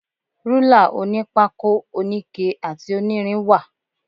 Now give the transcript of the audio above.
Rúlà onípákó, oníke àti onírin wà.